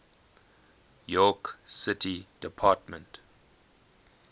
york city department